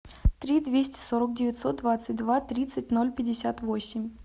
три двести сорок девятьсот двадцать два тридцать ноль пятьдесят восемь